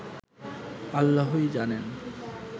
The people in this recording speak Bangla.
আল্লাহই জানেন”